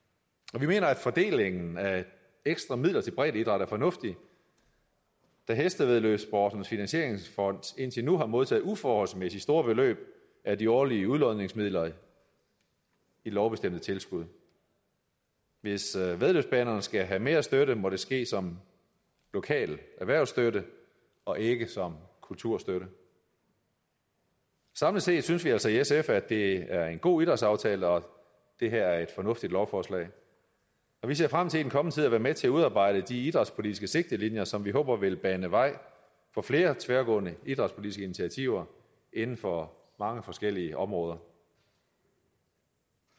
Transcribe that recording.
og vi mener at fordelingen af ekstra midler til breddeidræt er fornuftig da hestevæddeløbssportens finansieringsfond indtil nu har modtaget uforholdsmæssig store beløb af de årlige udlodningsmidler i lovbestemte tilskud hvis væddeløbsbanerne skal have mere støtte må det ske som lokal erhvervsstøtte og ikke som kulturstøtte samlet set synes vi altså i sf at det er en god idrætsaftale og at det her er et fornuftigt lovforslag og vi ser frem den kommende tid at være med til at udarbejde de idrætspolitiske sigtelinjer som vi håber vil bane vej for flere tværgående idrætspolitiske initiativer inden for mange forskellige områder